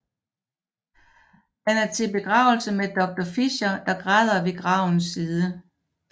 Han er til begravelse med Doctor Fischer der græder ved gravens side